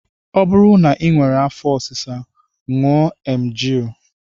Ọ bụrụ na I nwere afọ ọsịsa ṅụọ emgyl